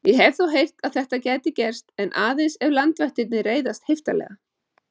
Ég hef þó heyrt að þetta geti gerst en aðeins ef landvættirnar reiðast heiftarlega